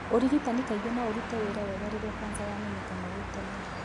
Ũrigitani kaingĩ no ũrute wĩra wega rĩrĩa cancer yamenyeka gwĩ tene.